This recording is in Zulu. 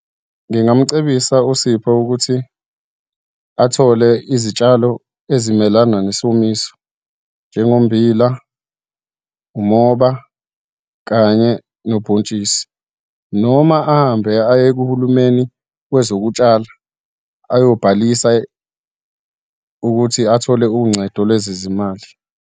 Ngingamcebisa uSipho ukuthi athole izitshalo ezimelana nesomiso, njengommbila, umoba, kanye nobhontshisi, noma ahambe ayekuhulumeni wezokutshala, ayobhalisa ukuthi athole uncedo lwezezimali.